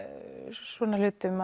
svona hlutum